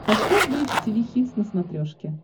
поставь бридж тиви хитс на смотрешке